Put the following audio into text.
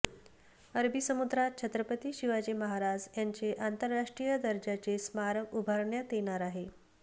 अरबी समुद्रात छत्रपती शिवाजी महाराज यांचे आंतरराष्ट्रीय दर्जाचे स्मारक उभारण्यात येणार आहे